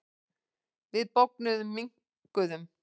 Við bognuðum, minnkuðum.